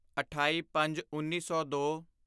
ਅਠਾਈਪੰਜਉੱਨੀ ਸੌ ਦੋ